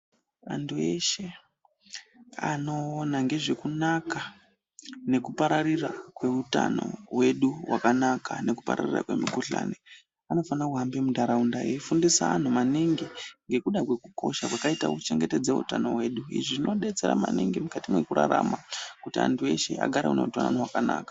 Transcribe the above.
Vantu veshe anoona ngezvekunaka nekuparira kweutano wedu wakanaka nekupararira kwemikuhlani anofane kubamba muntaraunda eifundisa antu maningi ngekuda kwekukosha kwakaite kuchengetedza utano hwedu izvi zvinodetsera maningi mukati mwekurarama kuti antu eshe agare neutano wakanaka.